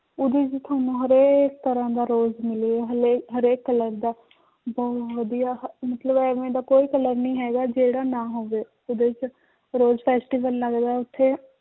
ਉਹਦੇ 'ਚ ਤੁਹਾਨੂੰ ਹਰੇਕ ਤਰ੍ਹਾਂ ਦਾ rose ਮਿਲੇਗਾ ਹਾਲੇ ਹਰੇਕ colour ਦਾ ਬਹੁਤ ਵਧੀਆ ਮਤਲਬ ਇਵੇਂ ਦਾ ਕੋਈ colour ਨੀ ਹੈਗਾ ਜਿਹੜਾ ਨਾ ਹੋਵੇ ਉਹਦੇ 'ਚ rose festival ਲੱਗਦਾ ਹੈ ਉੱਥੇ